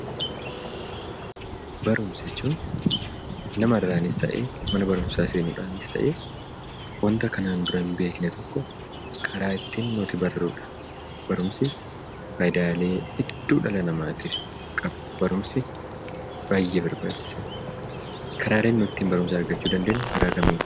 Barumsa jechuun namarraanis ta'e mana barumsaa seenuudhaanis waanta kanaan dura hin beekne tokko karaa ittiin nuti barrudha. Barumsi faayidaalee hedduu dhala namaatiif qaba. Barumsi baay'ee barbaachisaadha. Karaaleen nuti barumsa ittiin argachuu dandeenyu karaa kamiini?